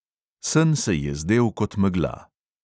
Sen se je zdel kot megla.